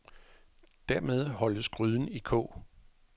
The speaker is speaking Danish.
Dermed holdes gryden i kog.